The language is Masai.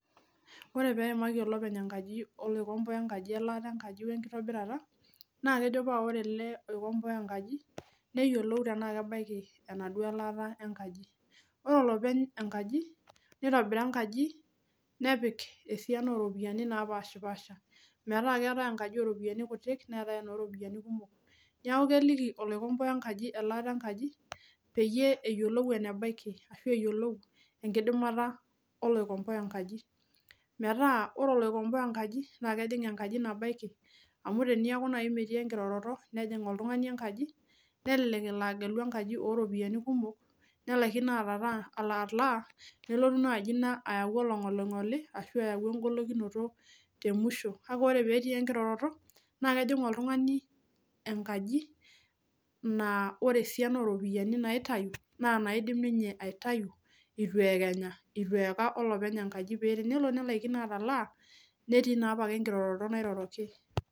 Wore pee eimaki olopeny enkaji oloikomboa enkaji elaata enkaji wenkitobirata, naa kejo paa wore ele oikomboa enkaji, neyiolou enaa kebaiki enaduo laata enkaji. Wore olopeny enkaji nitobira enkaji, nepik esiana ooropiyiani napashpaasha, metaa keetae enkaji ooropiyiani kutik neetae enooropiyani kumok. Neeku keliki oloikomboa enkaji elaata enkaji, peyie eyiolou enebaiki ashu eyiolou enkidimata oloikomboa enkaji. Metaa wore oloikomboa enkaji naa kejing enkaji nabaiki. Amu teneaku naaji metii enkiroroto, nejing oltungani enkaji, nelelek elo agelu enkaji ooropiyiani kumok, nelakino atalaa, nelotu naaji ina ayau oloingolingoli, ashu aau enkolikinoto temusho. Kake wore pee etii enkiroroto, naa kejing oltungani enkaji naa wore esiana ooropiyiani naitayu, naa naidim ninye aitayu itu eekenya, itu eaka olopeny enkaji. Paa tenelo nelakino atalaa, netii naa apake enkiroroto nairoroki.